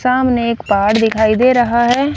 सामने एक पहाड़ दिखाई दे रहा है।